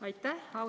Aitäh!